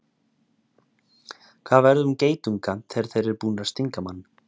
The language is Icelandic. hvað verður um geitunga þegar þeir eru búnir að stinga mann